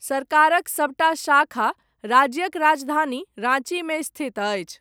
सरकारक सबटा शाखा, राज्यक राजधानी राँचीमे स्थित अछि।